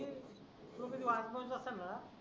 तुम्हीच वॉचमन असतांना